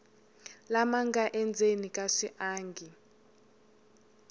lama nga endzeni ka swiangi